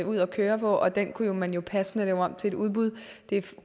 ud at køre og den kunne man jo passende lave om til et udbud